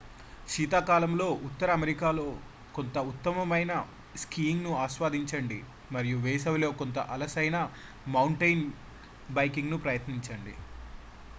శీతాకాలంలో ఉత్తర అమెరికాలో కొంత ఉత్తమమైన స్కీయింగ్ను ఆస్వాదించండి మరియు వేసవిలో కొంత అసలైన మౌంటెయిన్ బైకింగ్ను ప్రయత్నించండి